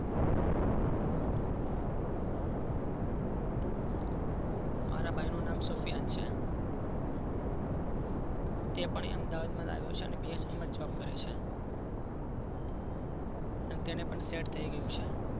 મારા ભાય નું નામ સુફિયાન છે તે પણ અમદાવાદ માં આવ્યો છે અને BSNL માં Job કરે છે. તેને પણ Set થઇ ગયું છે.